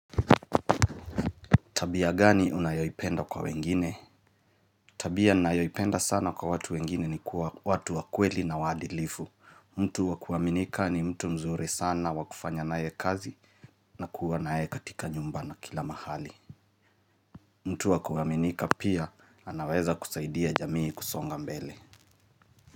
Tabia gani unayoipenda kwa wengine? Tabia nnayoipenda sana kwa watu wengine ni kuwa watu wakweli na waadilifu, mtu wakuaminika ni mtu mzuri sana wakufanya na ye kazi na kuwa na ye katika nyumba na kila mahali mtu wakuaminika pia anaweza kusaidia jamii kusonga mbele.